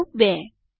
પગલું 2